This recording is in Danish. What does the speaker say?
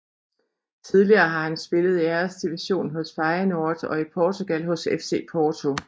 Tidligere har han spillet i Æresdivisionen hos Feyenoord og i Portugal hos FC Porto